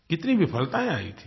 कितनी विफलताएँ आई थीं